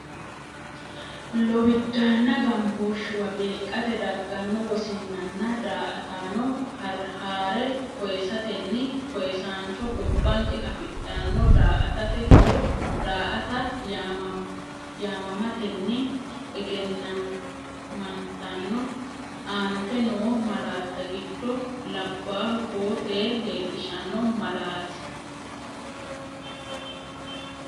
Lowiddaanna gambooshshuwa beeqqate dagganno wosinnanna daa”ataano haa’re koyisatenni koyisaancho gobbanke afidhanno daa”atate horo daa”ata yaamamatenni egennamantanno, Aante noo malaatta giddo labbaahu koo tee leellishanno malaati?